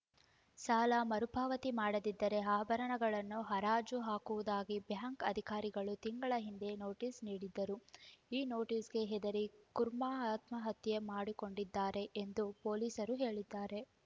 ಸಾಲ ಮರುಪಾವತಿ ಮಾಡದಿದ್ದರೆ ಆಭರಣಗಳನ್ನು ಹರಾಜು ಹಾಕುವುದಾಗಿ ಬ್ಯಾಂಕ್‌ ಅಧಿಕಾರಿಗಳು ತಿಂಗಳ ಹಿಂದೆ ನೋಟಿಸ್‌ ನೀಡಿದ್ದರು ಈ ನೋಟಿಸ್‌ಗೆ ಹೆದರಿ ಕುರ್ಮಾ ಆತ್ಮಹತ್ಯೆ ಮಾಡಿಕೊಂಡಿದ್ದಾರೆ ಎಂದು ಪೊಲೀಸರು ಹೇಳಿದ್ದಾರೆ